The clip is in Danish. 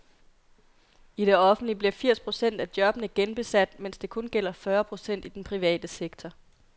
I det offentlige bliver firs procent af jobbene genbesat, mens det kun gælder fyrre procent i den private sektor.